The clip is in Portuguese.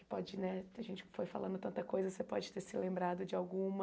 que pode né A gente foi falando tanta coisa, você pode ter se lembrado de alguma.